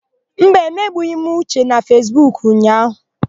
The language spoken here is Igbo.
Mba, emegbughị m Uche na Fesbuku ụnyaahụ.